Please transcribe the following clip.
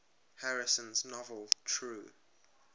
harrison's novel true